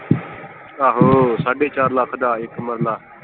ਆਹੋ ਸਾਡੇ ਚਾਰ ਲੱਖ ਦਾ ਇੱਕ ਮਰਲਾ।